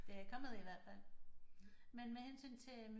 Det er kommet i hvert fald men med hensyn til